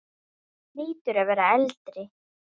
Þú hlýtur að vera eldri!